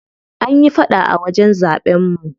An yi faɗa a wajen zaɓen mu.